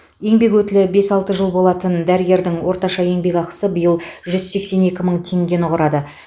еңбек өтілі бес алты жыл болатын дәрігердің орташа еңбекақысы биыл жүз сексен екі мың теңгені құрады